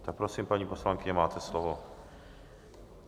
Tak prosím, paní poslankyně, máte slovo.